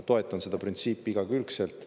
Toetan seda printsiipi igakülgselt.